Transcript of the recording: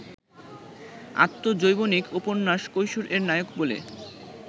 আত্মজৈবনিক উপন্যাস কৈশোর-এর নায়ক বলে